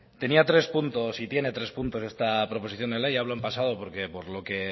tenía tres puntos y tiene tres puntos esta proposición de ley hablo en pasado porque por lo que